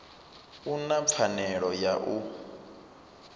u na pfanelo ya u